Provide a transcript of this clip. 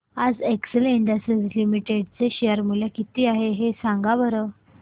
आज Excel industries limited चे share चे मूल्य किती आहे सांगा बरं